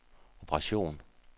operation